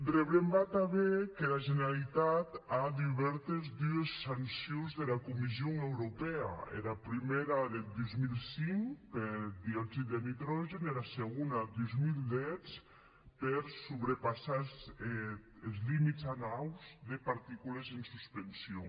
rebrembar tanben qu’era generalitat a dubèrtes dues sancions dera comision europèa era prumèra deth dos mil cinc per dioxid de nitrogèn e era segona dos mil deu per sobrepassar es limits annaus de particules en suspension